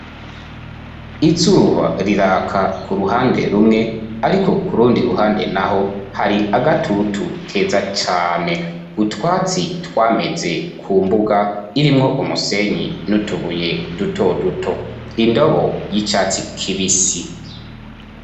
Izuba riraka ku ruhande rumwe ariko kurundi ruhande naho hari agatutu keza cyane, utwatsi twameze ku mbuga irimwo umusenyi nutubuye duto duto indobo y'icatsi k'ibisi.